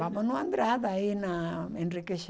Vamos no Andrade, aí na Enrique Schaumann.